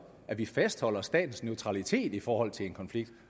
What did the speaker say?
at vi fastholder statens neutralitet i forhold til en konflikt